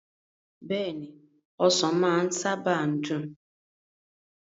Beeni, Osan maa saba n dun